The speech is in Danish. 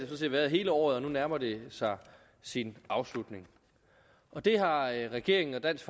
set været hele året og nu nærmer det sig sin afslutning det har regeringen og dansk